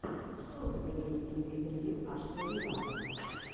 что у тебя есть из интервью ашера виво